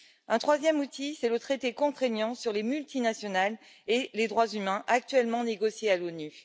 Un troisième outil, c'est le traité contraignant sur les multinationales et les droits humains actuellement négocié à l'ONU.